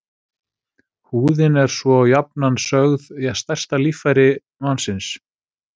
Húðin er svo jafnan sögð stærsta líffæri mannsins.